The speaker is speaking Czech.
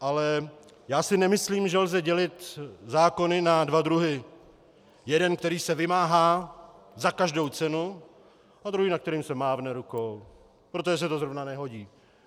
Ale já si nemyslím, že lze dělit zákony na dva druhy: jeden, který se vymáhá za každou cenu, a druhý, nad kterým se mávne rukou, protože se to zrovna nehodí.